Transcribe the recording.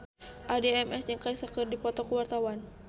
Addie MS jeung Kesha keur dipoto ku wartawan